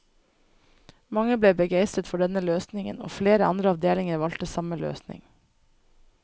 Mange ble begeistret for denne løsningen, og flere andre avdelinger valgte samme løsning.